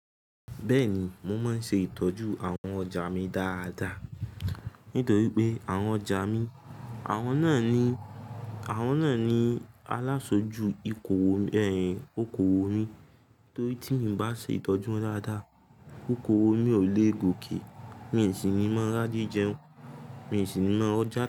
Bẹ́ẹ̀ni, mo máa ń ṣe ìtọ́jú àwọn ọjà mi dáadáa, nítorí pé àwọn ọjà mi, àwọn náà ni, àwọn náà ni alásojú ìkòwò, ẹ̀yin oko òwò mi. Torí tí mi o bá ṣe ìtọ́jú wọn dáadáa, okowò mi ò le gòkè, mi n sì ní mọ́ ráje jẹun, mi n sì ní mọ rọjà ta.